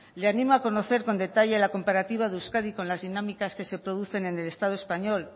le animo a conocer con detalle la comparativa de euskadi con las dinámicas que se conocen en el estado español